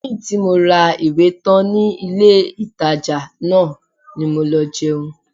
Lẹ́yìn tí mo ra ìwé tán ní ilé-ìtàjà náà ni mo lọ jẹun